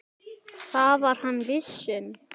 Það var hann viss um.